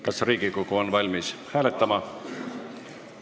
Kas Riigikogu on valmis hääletama?